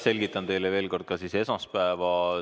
Selgitan teile veel kord ka seda, mis toimus esmaspäeval.